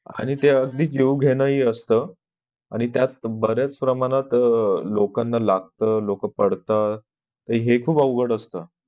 आणि त्या जीव घेणं हि असत आणि त्यात बऱ्याच प्रमाणात लोकांना लागत लोक पडतात हे खूप अवघड असत.